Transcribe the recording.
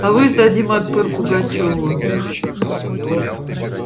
авось дадим отпор пугачёву